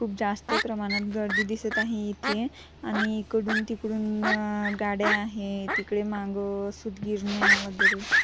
खूप जास्त प्रमाणात गर्दी दिसत आहे इथे आणि इकडून तिकडून गाड्या आहे तिथे मागे सुतगिरान्या वगेरे--